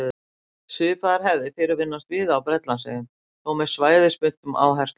Svipaðar hefðir fyrirfinnast víða á Bretlandseyjum, þó með svæðisbundnum áherslum.